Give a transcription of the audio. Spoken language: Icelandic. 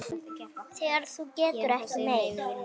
Þegar þú getur ekki meir.